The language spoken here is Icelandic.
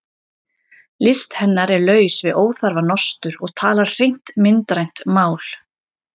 List hennar er laus við óþarfa nostur og talar hreint myndrænt mál.